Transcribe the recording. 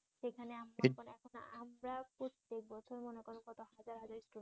যেখানে আমরা একটা আমরা প্রত্যেক বছর মনে করেন কত হাজার হাজার স্টেু